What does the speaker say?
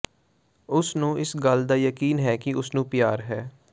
ਉਸ ਨੂੰ ਇਸ ਗੱਲ ਦਾ ਯਕੀਨ ਹੈ ਕਿ ਉਸ ਨੂੰ ਪਿਆਰ ਹੈ